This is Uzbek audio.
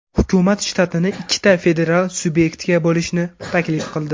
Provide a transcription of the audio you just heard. Hukumat shtatni ikkita federal subyektga bo‘lishni taklif qildi.